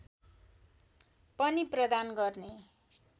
पनि प्रदान गर्ने